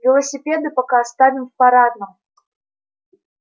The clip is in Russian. велосипеды пока оставим в парадном